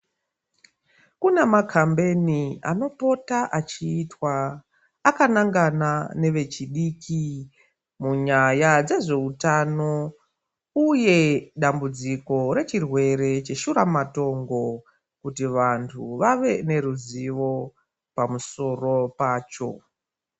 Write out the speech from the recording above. Kune makambeni anopota achiitwa akanangana nevechidiki munyaya dzezveutano. Uye dambudziko rechirwere cheshuramatongo kuti vantu vave neruzivo pamusoro pacho.